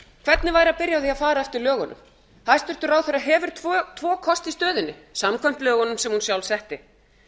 hvernig væri að byrja á því að fara eftir lögunum hæstvirtur ráðherra hefur tvo kosti í stöðunni samkvæmt lögunum sem hún sjálf setti